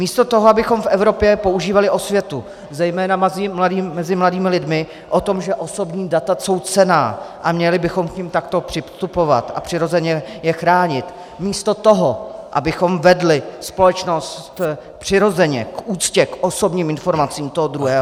Místo toho, abychom v Evropě používali osvětu zejména mezi mladými lidmi o tom, že osobní data jsou cenná a měli bychom k nim takto přistupovat a přirozeně je chránit, místo toho, abychom vedli společnost přirozeně k úctě k osobním informacím toho druhého -